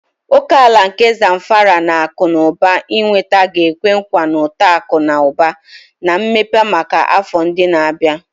Oke ala nke Zamfara na akụ na ụba ịnweta ga-ekwe nkwa uto akụ na ụba na mmepe maka afọ ndị na-abịa.